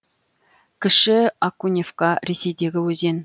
кіші окуневка ресейдегі өзен